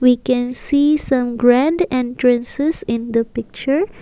we can see some grand entrances in the picture.